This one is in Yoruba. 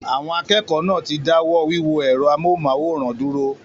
Àwọn akẹ́kọ̀ọ́ náà ti dáwọ́ wíwo ẹ̀rọ amóhùnmáwòrán dúró